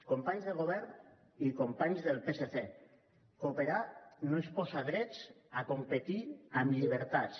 companys de govern i companys del psc cooperar no és posar drets a competir amb llibertats